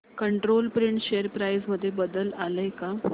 control print share price मध्ये बदल आलाय का